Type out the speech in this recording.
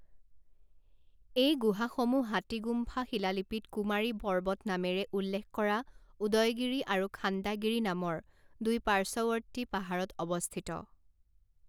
এই গুহাসমূহ হাতীগুম্ফা শিলালিপিত কুমাৰী পৰ্বত নামেৰে উল্লেখ কৰা উদয়গিৰি আৰু খাণ্ডাগিৰি নামৰ দুই পাৰ্শ্বৱৰ্তী পাহাৰত অৱস্থিত।